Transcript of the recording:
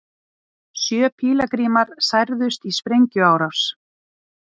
Sjö pílagrímar særðust í sprengjuárás